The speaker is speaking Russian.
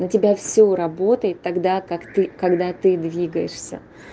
на тебя всё работает тогда как ты когда ты двигаешься